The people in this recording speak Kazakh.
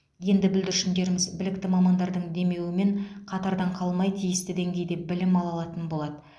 енді бүлдіршіндеріміз білікті мамандардың демеуімен қатардан қалмай тиісті деңгейде білім ала алатын болады